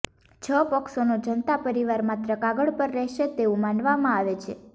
છ પક્ષોનો જનતા પરિવાર માત્ર કાગળ પર રહેશે તેવું માનવામાં આવે છે